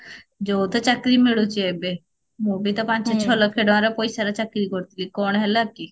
ଯୋଉ ତ ଚାକିରୀ ମିଳୁଛି ଏବେ ମୁଁ ବି ତ ପାଞ୍ଚ ଛ ଲକ୍ଷ ଟଙ୍କାର ପଇସାର ଚାକିରୀ କରୁଥିଲି କଣ ହେଲା କି